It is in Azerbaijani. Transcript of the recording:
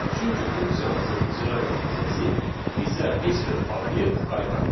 Çünki funksiyamızın icra nəticəsi bizə heç bir obyekt qaytarmır.